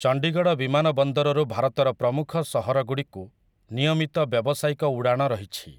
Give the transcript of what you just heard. ଚଣ୍ଡୀଗଡ଼ ବିମାନ ବନ୍ଦରରୁ ଭାରତର ପ୍ରମୁଖ ସହରଗୁଡ଼ିକୁ ନିୟମିତ ବ୍ୟବସାୟିକ ଉଡ଼ାଣ ରହିଛି ।